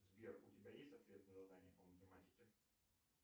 сбер у тебя есть ответ на задание по математике